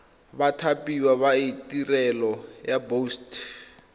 bathapiwa ba tirelo ya boset